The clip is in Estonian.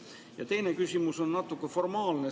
Ja teine küsimus on natuke formaalne.